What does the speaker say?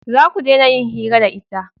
Za ku dena yin hira da ita